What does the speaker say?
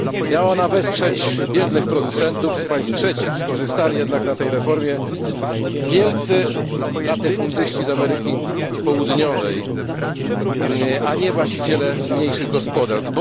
Miała ona wesprzeć biednych producentów z państw trzecich, skorzystali jednak na tej reformie wielcy latyfundyści z Ameryki Południowej, a nie właściciele mniejszych gospodarstw.